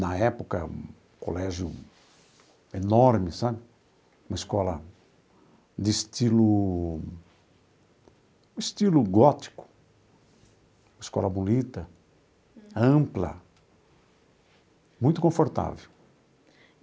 Na época, um colégio enorme sabe, uma escola de estilo um estilo gótico, uma escola bonita, ampla, muito confortável.